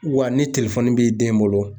Wa ni telefoni b'i den bolo